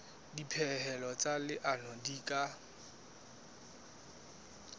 dipehelo tsa leano di ka